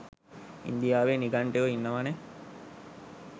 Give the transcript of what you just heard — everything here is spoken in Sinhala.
ඉන්දියාවේ නිගන්ටයෝ ඉන්නවනේ